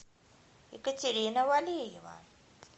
екатерина валеева